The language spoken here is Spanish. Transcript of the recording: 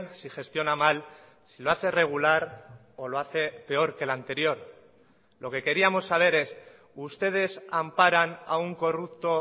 si gestiona mal si lo hace regular o lo hace peor que el anterior lo que queríamos saber es ustedes amparan a un corrupto